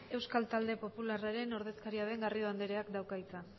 euskal talde popularra taldearen ordezkaria den garrido andereak dauka hitza